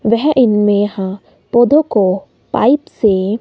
वह इनमें ह पौधों को पाइप से--